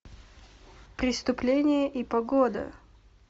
преступление и погода